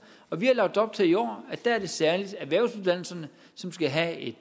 og vi har lagt op til i år at det særlig er erhvervsuddannelserne som skal have et